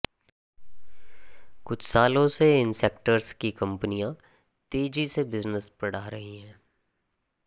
कुछ सालों से इन सेक्टर्स की कंपनियां तेज़ी से बिजनेस बढ़ा रही हैं